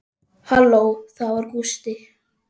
Halló, það var Gústi.